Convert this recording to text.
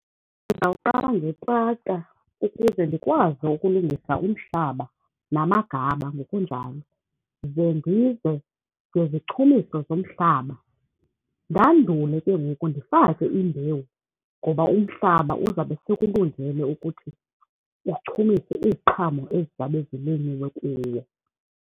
Ndizawuqala ukuze ndikwazi ukulungisa umhlaba, namagaba ngokunjalo. Ze ndize ngezichumiso zomhlaba, ndandule ke ngoku ndifake imbewu ngoba umhlaba uzawube sekulungele ukuthi uchumise iziqhamo ezizabe zilinyiwe kuwo.